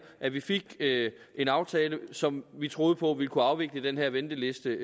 at vi fik en aftale som vi troede på ville kunne afvikle den her venteliste